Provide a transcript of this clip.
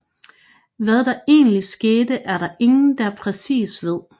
Hvad der egentlig skete er der ingen der præcis ved